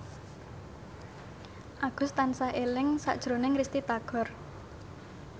Agus tansah eling sakjroning Risty Tagor